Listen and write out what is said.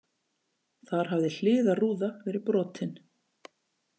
Þar hafði hliðarrúða verið brotin